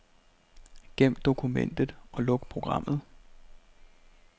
Gem dokumentet og luk programmet.